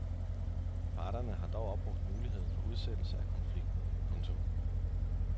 Parterne har dog opbrugt muligheden for udsættelse af konflikten. punktum